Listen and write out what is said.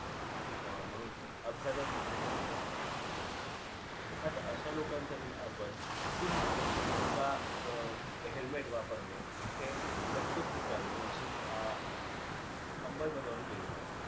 अ म्हणून अपघातात मृत्यूचे प्रमाण वाढते. आता अश्या लोकांसाठी आपण पुन्हा एका अ helmet वापरणे हे प्रत्येक ठिकाणी याची अं अंमलबजावणी केली पाहिजे.